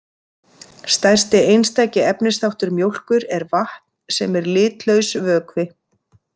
Stærsti einstaki efnisþáttur mjólkur er vatn sem er litlaus vökvi.